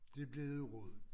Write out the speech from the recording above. De blev noget rod